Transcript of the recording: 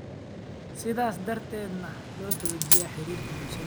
sidaas darteedna loo xoojiyo xiriirka bulshada.